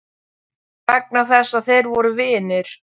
Vegna þess að þeir voru vinir?